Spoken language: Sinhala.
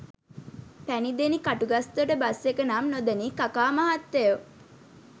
පැණිදෙනි කටුගස්තොට බස් එක නම් නොදනී කකා මහත්තයෝ